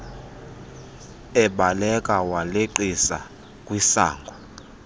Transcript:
ebaleka waleqisa kwisango